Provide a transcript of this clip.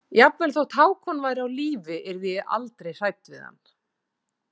Jafnvel þótt Hákon væri á lífi yrði ég aldrei hrædd við hann.